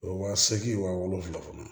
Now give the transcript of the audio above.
Wa seegin wa wolonfila kɔnɔ